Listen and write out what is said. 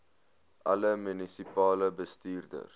alle munisipale bestuurders